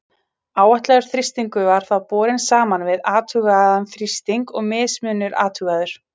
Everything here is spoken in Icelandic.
Áætlaður þrýstingur var þá borinn saman við athugaðan þrýsting og mismunur athugaður.